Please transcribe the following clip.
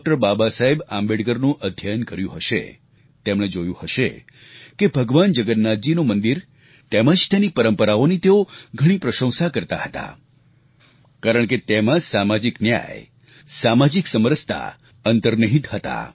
બાબા સાહેબ આંબેડકરનું અધ્યયન કર્યું હશે તેમણે જોયું હશે કે ભગવાન જગન્નાથજીનું મંદિર તેમજ તેની પરંપરાઓની તેઓ ઘણી પ્રશંસા કરતા હતા કારણ કે તેમાં સામાજિક ન્યાય સામાજિક સમરસતા અંતર્નિહિત હતા